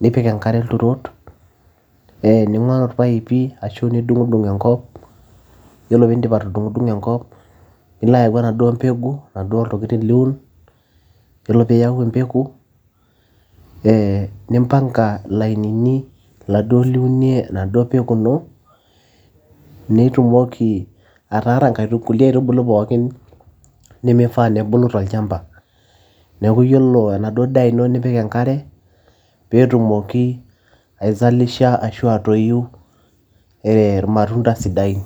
nipik enkare ilturot ee ning'oru irpaipi ashu nidung'dung enkop yiolo piindip atudung'udung'o enkop nilo ayau enaduo mbegu iladuo tokitin liun yiolo piiyau empeku ee nimpanga ilainini laduo liunie enaduo peku ino nitumoki ataara nkulie aitubulu pookin nemifaa nebulu tolchamba neeku yiolo enaduo daa ino nipik enkare peetumoki aizalisha ashu atoyu ee irmatunda sidain.